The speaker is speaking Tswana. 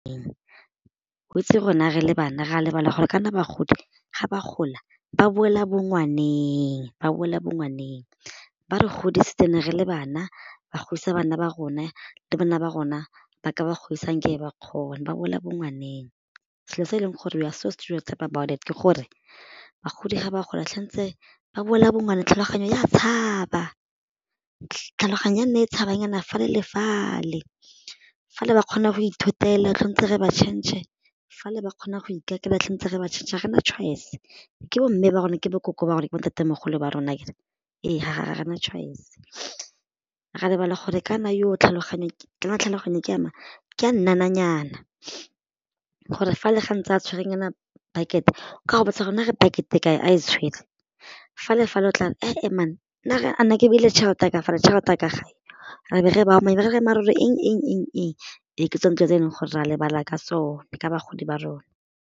Weitse rona re le bana re a lebala gore kana bagodi ga ba gola ba boela bongwaneng ba boela bongwaneng, ba re godisitse re ne re le bana ba godisa bana ba rona le bana ba rona ba ka ba godisa ga nkabe ba ba boela bongwaneng. Selo se e leng gore we are so stereotype about it ke gore bagodi ga ba gola ba boela bongwaneng tlhaloganyo ya tshaba tlhaloganyo e nna e tshabanyana fale le fale fale ba kgona go ithotela tshwantse re ba change fale ba kgona go ikakela tshwantse re ba change-e ga re na choice be ke bomme ba rona ke bo nkoko ba rona, bo ntatemogolo ba rona akere, ee ga re na choice re a lebala gore kana tlhaloganyo kana tlhaloganyo ke ya mang, ke ya nnananyana gore fa le ga ntse a tshwerenyana bucket ka go botsa gore nare bucket-e e kae a e tshwere fale-fale o tla bo a re ke ne ke beile tšhelete ya ka fale tšhelete ya ka re be re bao ba re mare eng e ke tsone dilo tse eleng gore ra lebala ka sone ka bagodi ba rona.